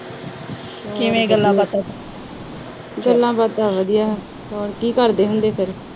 ਕਿਵੇਂ ਗੱਲਾਂ ਬਾਤਾਂ। ਹੋਰ ਕੀ ਕਰਦੇ ਹੁੰਦੇ।